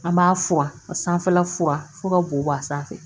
An b'a furan ka sanfɛla fuwa fo ka bo bɔ a sanfɛ